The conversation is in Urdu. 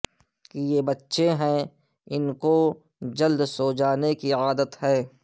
کہ یہ بچے ہیں ان کو جلد سو جانے کی عادت ہے